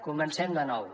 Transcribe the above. comencem de nou